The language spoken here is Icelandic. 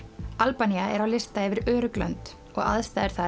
Albanía er á lista yfir örugg lönd og aðstæður